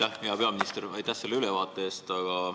Aitäh, hea peaminister, selle ülevaate eest!